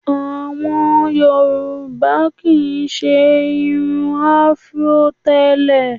Àwọn Yorùbá kì í ṣe irun Afro tẹ́lẹ̀